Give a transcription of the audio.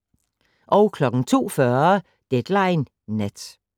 02:40: Deadline Nat